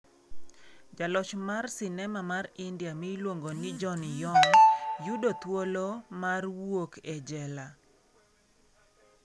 Jaloch mar sinema mar India miluongo ni John Yong yudo thuolo mar wuok e jela